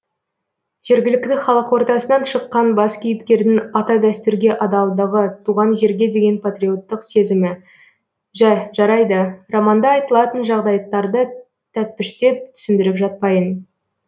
жергілікті халық ортасынан шыққан бас кейіпкердің ата дәстүрге адалдығы туған жерге деген патриоттық сезімі жә жарайды романда айтылатын жағдаяттарды тәппіштеп түсіндіріп жатпайын